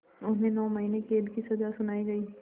उन्हें नौ महीने क़ैद की सज़ा सुनाई गई